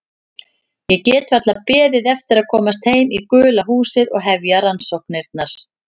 Ég gat varla beðið eftir að komast heim í gula húsið og hefja rannsóknirnar.